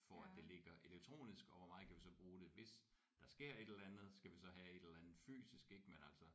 For at det ligger elektronisk og hvor meget kan vi så bruge det hvis der sker et eller andet skal vi så have et eller andet fysisk ik men altså